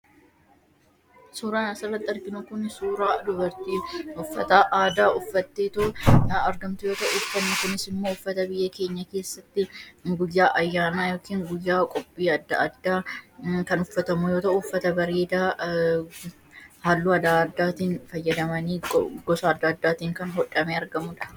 Suuraan asirratti arginu kun suuraa dubartii uffata aadaa uffattee taa'aa argamtu yoo ta'u suuraan kunis immoo uffata biyya keenya keessatti guyyaa ayyaanaa yookiin guyyaa qophii adda addaa kan uffatamu yoo ta'u, uffata bareedaa halluu adda addaatiin fayyadamanii gosa adda addaatiin godhamee kan argamudha.